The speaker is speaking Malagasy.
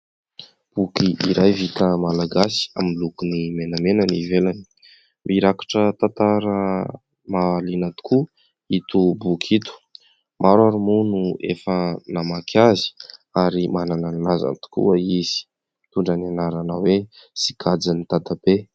Boky iray vita malagasy miloko menamena ny ivelany mirakitra tantara mahaliana tokoa ito boky ito maro ary moa no efa namaky azy ary manana ny lazany tokoa izy mitondra ny anarana hoe sikajin'i dadabe